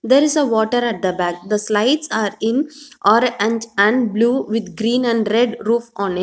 there is a water at the back the slides are in or and and blue with green and red roof on it.